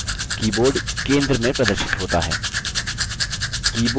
keyboard centre में प्रदर्शित होता है